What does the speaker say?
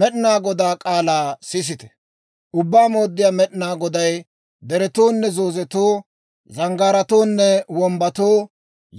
Med'inaa Godaa k'aalaa sisite! Ubbaa Mooddiyaa Med'inaa Goday deretoonne zoozetoo, zanggaaratoonne wombbatoo,